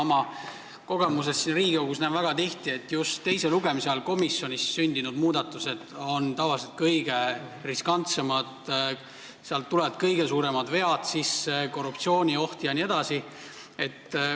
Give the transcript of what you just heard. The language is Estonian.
Mina olen siin Riigikogus väga tihti näinud, et just teise lugemise ajal komisjonis sündinud muudatused on tavaliselt kõige riskantsemad, sealt tulevad kõige suuremad vead sisse, on korruptsioonioht jne.